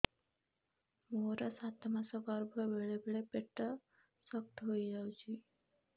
ମୋର ସାତ ମାସ ଗର୍ଭ ବେଳେ ବେଳେ ପେଟ ଶକ୍ତ ହେଇଯାଉଛି